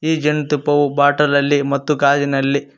ಈ ಜೇನ್ ತುಪ್ಪವು ಬಾಟಲಲ್ಲಿ ಮತ್ತು ಗಾಜಿನಲ್ಲಿ--